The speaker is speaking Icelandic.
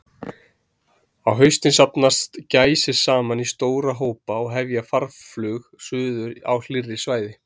Á haustin safnast gæsir saman í stóra hópa og hefja farflug suður á hlýrri svæði.